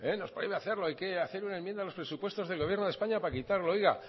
nos prohíbe hacerlo hay que hacer una enmienda a los presupuesto del gobierno de españa para quitarlo oiga